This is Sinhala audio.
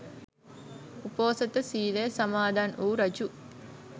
උපෝසථ සීලය සමාදන් වු රජු